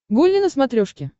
гулли на смотрешке